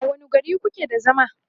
a wani gari kuke da zama?